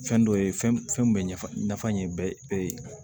Fɛn dɔ ye fɛn bɛ ɲɛfan ye bɛɛ ye